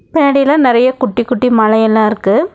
பின்னாடிலா நெறைய குட்டி குட்டி மலையெல்லா இருக்கு.